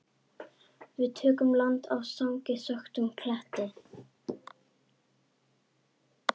Við tökum land á þangi þöktum kletti.